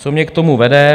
Co mě k tomu vede?